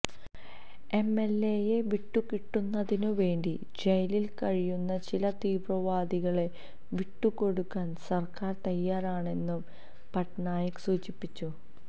എംഎല്എയെ വിട്ടുകിട്ടുന്നതിനുവേണ്ടി ജയിലില് കഴിയുന്ന ചില തീവ്രവാദികളെ വിട്ടുകൊടുക്കാന് സര്ക്കാര് തയ്യാറാണെന്നും പട്നായിക് സൂചിപ്പിച്ചു